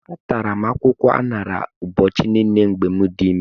Atara m akwụkwọ aṅara ụbọchị niile mgbe m dị ime.